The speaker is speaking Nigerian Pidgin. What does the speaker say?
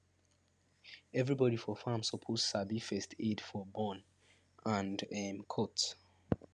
everybody for farm suppose sabi first aid for burn and um cut